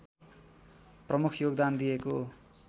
प्रमुख योगदान दिएको